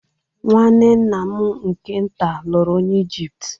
Nwanne nna m nke-ntà luru onye Ijipt.